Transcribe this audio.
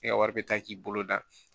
E ka wari bɛ taa k'i bolo da